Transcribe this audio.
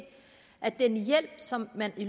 at den hjælp som man